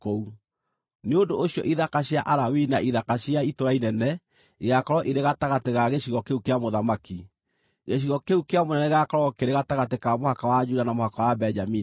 Nĩ ũndũ ũcio ithaka cia Alawii na ithaka cia itũũra inene igaakorwo irĩ gatagatĩ ga gĩcigo kĩu kĩa mũthamaki. Gĩcigo kĩu kĩa mũnene gĩgaakorwo kĩrĩ gatagatĩ ka mũhaka wa Juda na mũhaka wa Benjamini.